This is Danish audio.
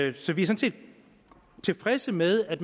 er sådan set tilfredse med at